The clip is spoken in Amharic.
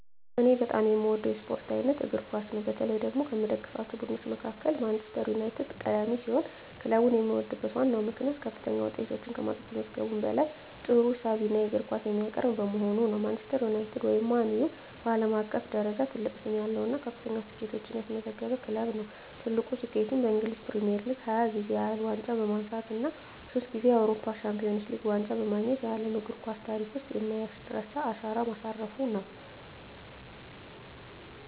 እኔ በጣም የምወደው የስፖርት አይነት እግር ኳስ ነው። በተለይ ደግሞ ከምደግፋቸው ቡድኖች መካከል ማንቸስተር ዩናይትድ ቀዳሚ ሲሆን፣ ክለቡን የምወድበት ዋነኛው ምክንያት ከፍተኛ ውጤቶችን ከማስመዝገቡም በላይ ጥሩና ሳቢ የእግር ኳስ የሚያቀርብ በመሆኑ ነው። ማንቸስተር ዩናይትድ (ማን ዩ) በዓለም አቀፍ ደረጃ ትልቅ ስም ያለው እና ከፍተኛ ስኬቶችን ያስመዘገበ ክለብ ነው። ትልቁ ስኬቱም በእንግሊዝ ፕሪሚየር ሊግ 20 ጊዜ ያህል ዋንጫ በማንሳት እና ሶስት ጊዜ የአውሮፓ ቻምፒየንስ ሊግ ዋንጫን በማግኘት በዓለም እግር ኳስ ታሪክ ውስጥ የማይረሳ አሻራ ማሳረፉ ነው።